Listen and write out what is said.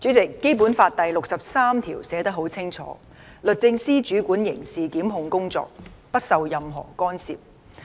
主席，《基本法》第六十三條寫得很清楚："律政司主管刑事檢控工作，不受任何干涉"。